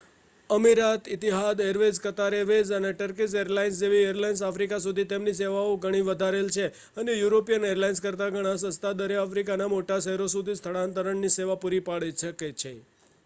અમીરાત Etihad Airways Qatar Airways અને Turkish Airlines જેવી એરલાઇન્સે આફ્રિકા સુધી તેમની સેવાઓ ઘણી વધારેલ છે અને યુરોપિયન એરલાઇન્સ કરતાં ઘણા સસ્તા દરે આફ્રિકાના મોટા શહેરો સુધી સ્થાનાંતરણ ની સેવાઓ પૂરી પાડે છે